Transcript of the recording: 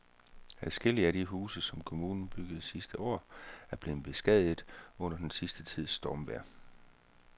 Adskillige af de huse, som kommunen byggede sidste år, er blevet beskadiget under den sidste tids stormvejr.